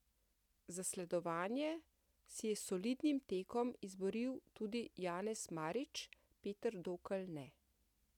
Zasledovanje si je s solidnim tekom izboril tudi Janez Marič, Peter Dokl ne.